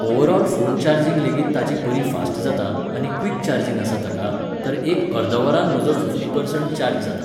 overall phone charging लेगीत ताची बरी फास्ट जाता आनी क्विक चार्जिंग आसा ताका, तर एक अर्दवरान म्हजो फिफ्टी पर्संट चार्ज जाता